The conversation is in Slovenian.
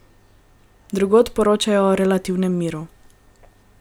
Drugod poročajo o relativnem miru.